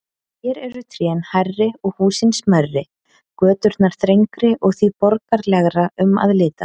Hér eru trén hærri og húsin smærri, göturnar þrengri og því borgaralegra um að litast.